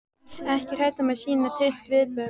Ekki hrædd um að sýna tryllt viðbrögð.